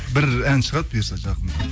бір ән шығады бұйырса жақында